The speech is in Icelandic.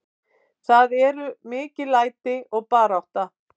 Það eru mikil læti og barátta.